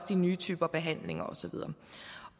de nye typer behandlinger